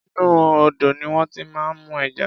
Inú odò ní wón ti máa ń mú ẹja.